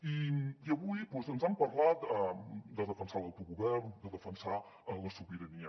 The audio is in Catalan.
i avui doncs ens han parlat de defensar l’autogovern de defensar la sobirania